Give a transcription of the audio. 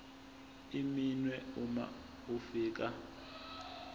iminwe uma ufika